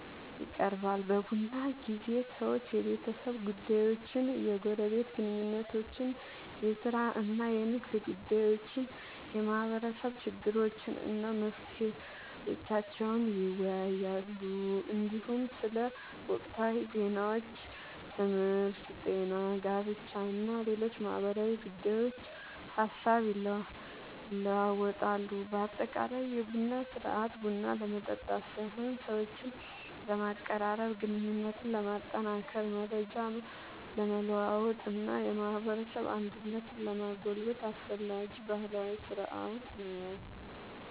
ይቀርባል። በቡና ጊዜ ሰዎች የቤተሰብ ጉዳዮችን፣ የጎረቤት ግንኙነቶችን፣ የሥራ እና የንግድ ጉዳዮችን፣ የማህበረሰብ ችግሮችን እና መፍትሄዎቻቸውን ይወያያሉ። እንዲሁም ስለ ወቅታዊ ዜናዎች፣ ትምህርት፣ ጤና፣ ጋብቻ እና ሌሎች ማህበራዊ ጉዳዮች ሐሳብ ይለዋወጣሉ። በአጠቃላይ የቡና ሥርዓት ቡና ለመጠጣት ሳይሆን ሰዎችን ለማቀራረብ፣ ግንኙነትን ለማጠናከር፣ መረጃ ለመለዋወጥ እና የማህበረሰብ አንድነትን ለማጎልበት አስፈላጊ ባህላዊ ሥርዓት ነው።